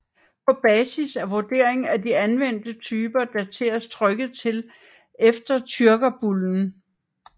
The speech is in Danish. På basis af vurdering af de anvendte typer dateres trykket til efter tyrkerbullen